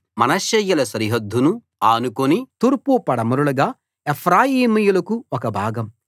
మనష్షేయుల సరిహద్దును ఆనుకుని తూర్పు పడమరలుగా ఎఫ్రాయిమీయులకు ఒక భాగం